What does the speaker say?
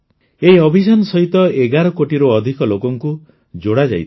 ଏହି ଅଭିଯାନ ସହିତ ୧୧ କୋଟିରୁ ଅଧିକ ଲୋକଙ୍କୁ ଯୋଡ଼ାଯାଇଥିଲା